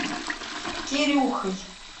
кирюхой